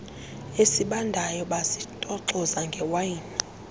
esibandayo bazitoxoza ngewayini